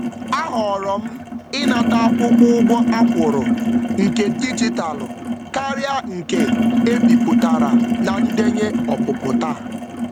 A họọrọ m ịnata akwụkwọ ụgwọ a kwụrụ nke dijitalụ karịa nke e bipụtara na ndenye ọpụpụ taa.